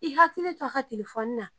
I hakili t'a ka telefɔni na